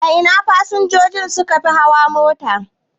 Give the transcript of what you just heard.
A ina fasinjoji sukafi hawa mota?